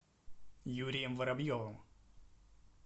юрием воробьевым